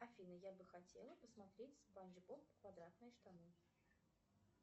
афина я бы хотела посмотреть спанч боб квадратные штаны